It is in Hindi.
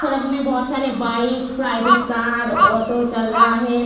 सड़क में बहुत सारे बाइक प्राइवेट कार ऑटो चल रहा है।